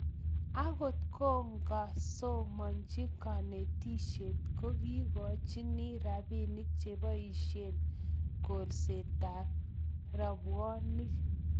akot kokakosomonchi kanetisie koikochini robinik cheboisien kolsetab robwoniek